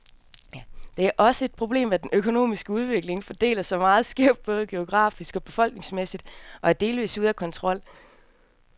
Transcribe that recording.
Det er også et problemet, at den økonomiske udvikling fordeler sig meget skævt, både geografisk og befolkningsmæssigt, og er delvist ude af kontrol.